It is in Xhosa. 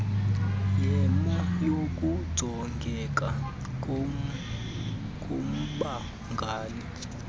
yemo yokujongeka kommangali